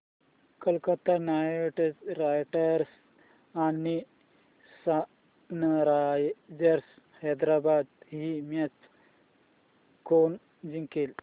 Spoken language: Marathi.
कोलकता नाइट रायडर्स आणि सनरायझर्स हैदराबाद ही मॅच कोणी जिंकली